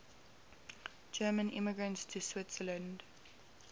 german immigrants to switzerland